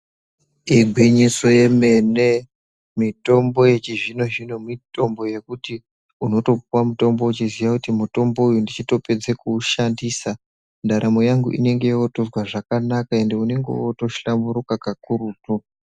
Igwinyiso yemene. Mitombo yechizvino-zvino mitombo yekuti unotopuwa mutombo uchiziya kuti mutombo uyu ndichitopedza kuushandisa ndaramo yangu inenge yotozwa zvakanaka ende unenge wotohlamburuka kakurutu.